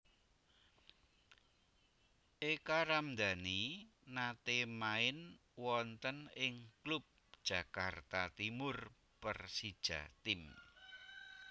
Eka Ramdani nate main wonten ing klub Jakarta Timur Persijatim